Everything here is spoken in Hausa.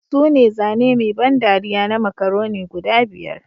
Sune zane mai ban dariya na Macaroni guda biyar